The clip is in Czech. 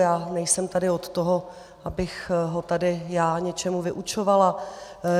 Já nejsem tady od toho, abych ho tady já něčemu vyučovala.